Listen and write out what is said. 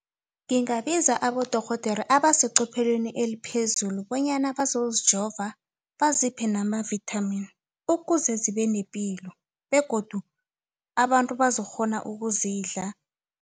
Ngingabiza abodorhodere abasecophelweni eliphezulu bonyana bazozijova baziphe nama-vitamin ukuze zibe nepilo begodu abantu bazokukghona ukuzidla.